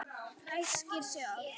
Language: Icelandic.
Ræskir sig oft.